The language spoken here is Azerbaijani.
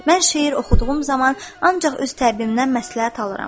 Mən şeir oxuduğum zaman ancaq öz təbbimnən məsləhət alıram.